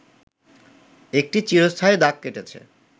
একটি চিরস্থায়ী দাগ কেটেছে